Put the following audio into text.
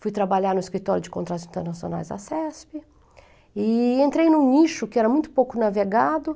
Fui trabalhar no Escritório de Contratos Internacionais da CESP e entrei num nicho que era muito pouco navegado e